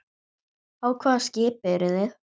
Á hvaða skipi eru þið?